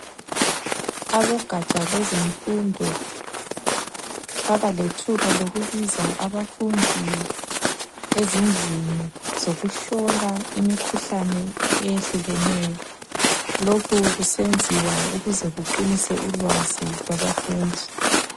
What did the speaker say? Abogatsha lwezemfundo babalethuba lokubiza abafundi ezindlini zokuhlola imikhuhlane eyehlukeneyo. Lokhu kusenziwa ukuze kuqinise ulwazi lwabafundi.